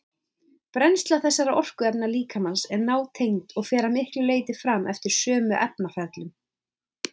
Brennsla þessara orkuefna líkamans er nátengd og fer að miklu leyti fram eftir sömu efnaferlum.